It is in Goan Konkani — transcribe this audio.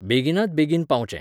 बेगिनात बेगीन पावचें.